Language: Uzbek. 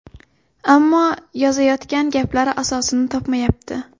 Ammo yozayotgan gaplari asosini topmayapti.